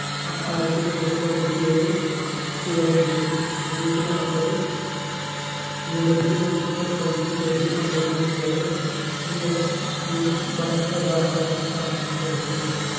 ആയിരത്തി മുന്നൂറ്റി തൊണ്ണൂറ്റി ഏഴ് kilometer ഉം അന്നൂറ്റി നാല്പത് New Delhi municipal council Delhi cantonment board എന്നി ങ്ങനെ മൂന്ന് പ്രധാന ഭരണ സ്ഥാപനങ്ങളാണ് ഡൽഹിക്ക് ഉള്ളത്